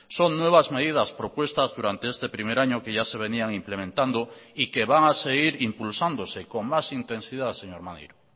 son nuevas medidas propuestas durante este primer año que ya se venían implementando y que van a seguir impulsándose con más intensidad señor maneiro